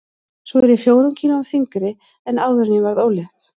Svo er ég fjórum kílóum þyngri en áður en ég varð ólétt.